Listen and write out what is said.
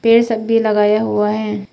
ये सब भी लगाया हुआ है।